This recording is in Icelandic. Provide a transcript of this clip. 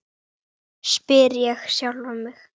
spyr ég sjálfan mig.